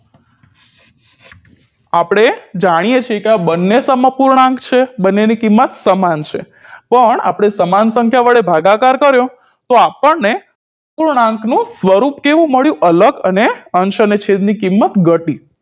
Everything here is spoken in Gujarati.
આપણે જાણીએ છીએ કે આ બંને સમઅપૂર્ણાંક છે બંનેની કિંમત સમાન છે પણ આપણે સમાન સંખ્યા વડે ભાગાકાર કર્યો તો આપણને અપૂર્ણાંકનું સ્વરૂપ કેવું મળ્યું અલગ અને અંશ અને છેદની કિંમત ઘટી